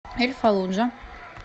эль фаллуджа